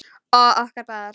Og okkur báðar.